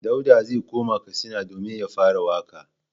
Dauda zai koma Katsina domin ya fara waƙa.